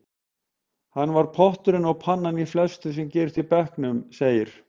Hann var potturinn og pannan í flestu sem gerðist í bekknum, segir